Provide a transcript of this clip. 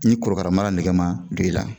Ni kɔrɔkara mara nege ma don i la